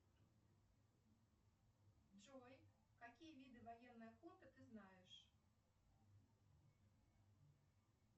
джой какие виды военной охоты ты знаешь